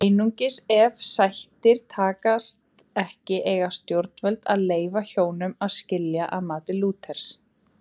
Einungis ef sættir takast ekki eiga stjórnvöld að leyfa hjónum að skilja að mati Lúthers.